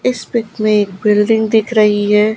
इस पिक में एक बिल्डिंग दिख रही है।